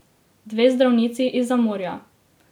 Dve zdravnici izza morja.